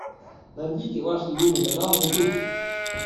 найдите ваш любимый канал на ютуб